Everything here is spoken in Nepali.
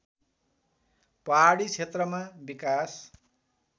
पहाडी क्षेत्रमा विकास